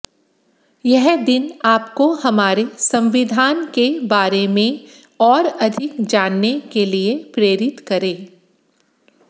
यह दिन आपको हमारे संविधान के बारे में और अधिक जानने के लिए प्रेरित करे